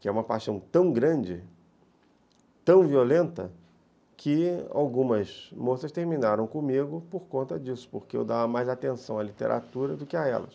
que é uma paixão tão grande, tão violenta, que algumas moças terminaram comigo por conta disso, porque eu dava mais atenção à literatura do que a elas.